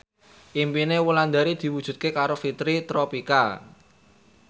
impine Wulandari diwujudke karo Fitri Tropika